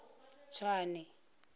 tswane